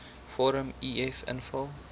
vorm uf invul